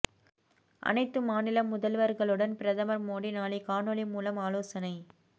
அனைத்து மாநில முதல்வர்களுடன் பிரதமர் மோடி நாளை காணொலி மூலம் ஆலோசனை